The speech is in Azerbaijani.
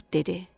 Qurd dedi: